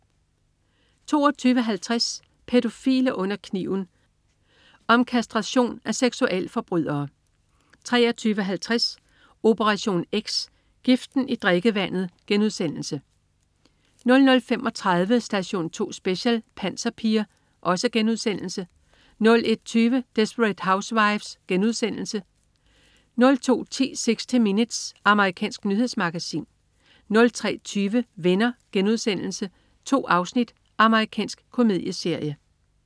22.50 Pædofile under kniven. Om kastration af seksualforbrydere 23.50 Operation X, giften i drikkevandet* 00.35 Station 2 Special: Panserpiger* 01.20 Desperate Housewives.* Amerikansk dramaserie 02.10 60 Minutes. Amerikansk nyhedsmagasin 03.20 Venner.* 2 afsnit. Amerikansk komedieserie